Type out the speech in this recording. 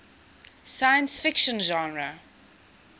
science fiction genre